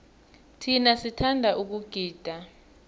thina sithanda ukugida